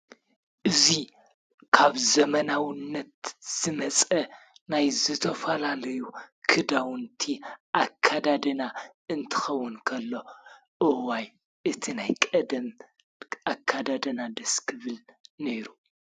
እዚ ካብ ዘመናውነት ዝመፀ ናይ ዝተፈላለዩ ክዳውንቲ ኣከዳድና እንትኸውን ከሎ እዋይ እቲ ናይ ቀደም ኣከዳድና ደስ ክብል ነይሩ።